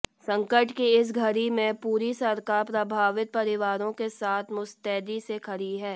संकट की इस घड़ी में पूरी सरकार प्रभावित परिवारों के साथ मुस्तैदी से खड़ी है